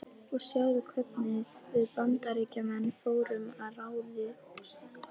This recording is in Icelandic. Og sjáðu hvernig við Bandaríkjamenn fórum að ráði okkar.